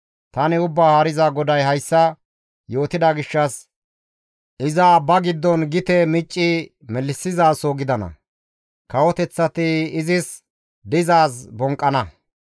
Tani Ubbaa Haariza GODAY hayssa yootida gishshas iza abba giddon gite micci melissizaso gidana; kawoteththati izis dizaaz bonqqana.